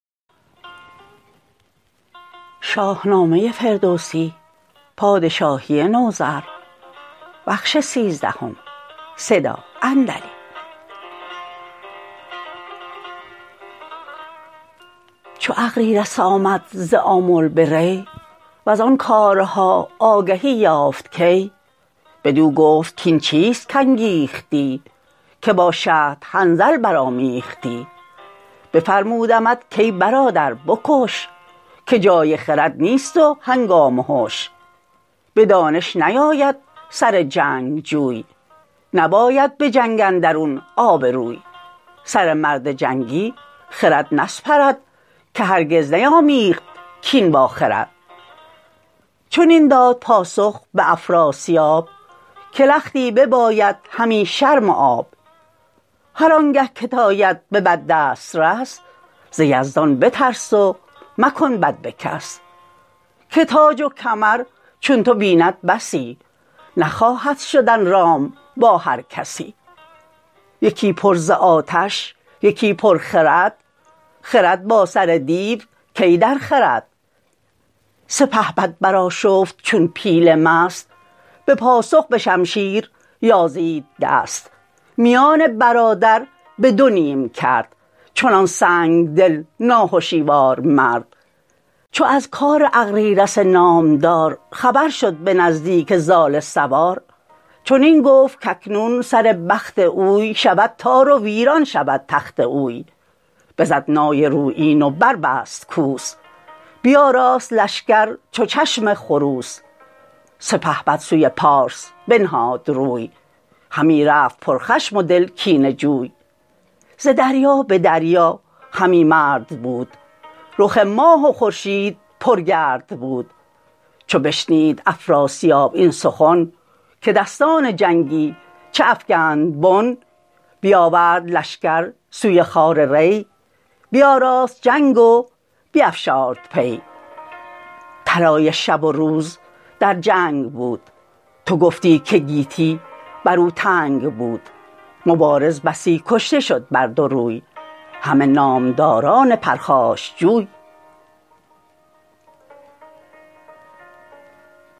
چو اغریرث آمد ز آمل به ری وزان کارها آگهی یافت کی بدو گفت کاین چیست کانگیختی که با شهد حنظل برآمیختی بفرمودمت کای برادر به کش که جای خرد نیست و هنگام هش به دانش نیاید سر جنگجوی نباید به جنگ اندرون آبروی سر مرد جنگی خرد نسپرد که هرگز نیامیخت کین با خرد چنین داد پاسخ به افراسیاب که لختی بباید همی شرم و آب هر آنگه کت آید به بد دسترس ز یزدان بترس و مکن بد به کس که تاج و کمر چون تو بیند بسی نخواهد شدن رام با هر کسی یکی پر ز آتش یکی پر خرد خرد با سر دیو کی درخورد سپهبد برآشفت چون پیل مست به پاسخ به شمشیر یازید دست میان برادر به دو نیم کرد چنان سنگدل ناهشیوار مرد چو از کار اغریرث نامدار خبر شد به نزدیک زال سوار چنین گفت که اکنون سر بخت اوی شود تار و ویران شود تخت اوی بزد نای رویین و بربست کوس بیاراست لشکر چو چشم خروس سپهبد سوی پارس بنهاد روی همی رفت پر خشم و دل کینه جوی ز دریا به دریا همی مرد بود رخ ماه و خورشید پر گرد بود چو بشنید افراسیاب این سخن که دستان جنگی چه افگند بن بیاورد لشکر سوی خوار ری بیاراست جنگ و بیفشارد پی طلایه شب و روز در جنگ بود تو گفتی که گیتی بر او تنگ بود مبارز بسی کشته شد بر دو روی همه نامداران پرخاشجوی